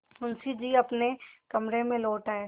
मुंशी जी अपने कमरे में लौट आये